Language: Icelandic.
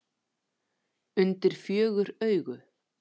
Undir fjögur augu.